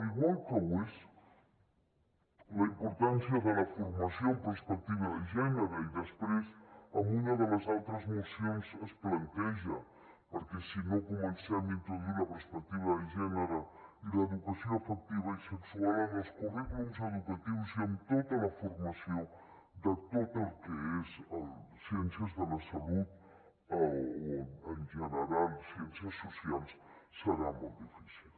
igual que ho és la importància de la formació amb perspectiva de gènere i després en una de les altres mocions es planteja perquè si no comencem a introduir la perspectiva de gènere i l’educació afectiva i sexual en els currículums educatius i amb tota la formació de tot el que és ciències de la salut o en general ciències socials serà molt difícil